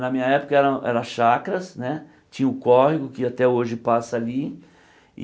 Na minha época eram era chacras né, tinha o córrego que até hoje passa ali.